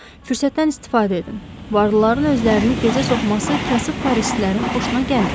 Fürsətdən istifadə edin, varlıların özlərini gözə soxması kasıb parislilərin xoşuna gəlmir.